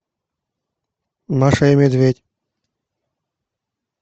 маша и медведь